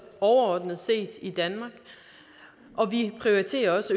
overordnet set i danmark og vi prioriterer også